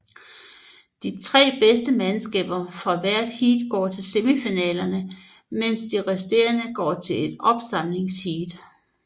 De tre bedste mandskaber fra hvert heat går til semifinalerne mens de resterende går til ét opsamlingsheat